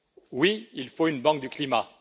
Oui, il faut une banque du climat.